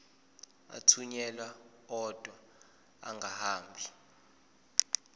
athunyelwa odwa angahambi